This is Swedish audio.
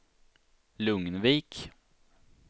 Lugnvik